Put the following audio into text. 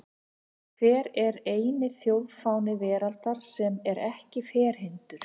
Hver er eini þjóðfáni veraldar sem er ekki ferhyrndur?